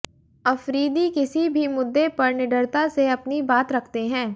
अफरीदी किसी भी मुद्दे पर निडरता से अपनी बात रखते हैं